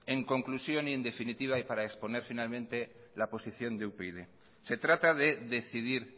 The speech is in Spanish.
en conclusión y en definitiva y para exponer finalmente la posición de upyd se trata de decidir